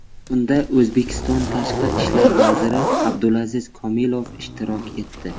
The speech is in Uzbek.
Unda O‘zbekiston tashqi ishlar vaziri Abdulaziz Komilov ishtirok etdi.